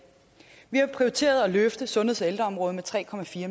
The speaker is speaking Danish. vi har prioriteret at løfte sundheds og ældreområdet med tre